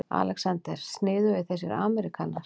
ALEXANDER: Sniðugir þessir ameríkanar.